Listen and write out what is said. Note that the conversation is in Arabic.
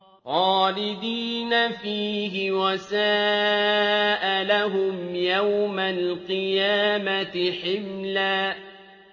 خَالِدِينَ فِيهِ ۖ وَسَاءَ لَهُمْ يَوْمَ الْقِيَامَةِ حِمْلًا